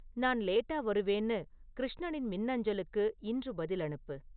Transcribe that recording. நான் லேட்டா வருவேன்னு கிருஷ்ணனின் மின்னஞ்சலுக்கு இன்று பதில் அனுப்பு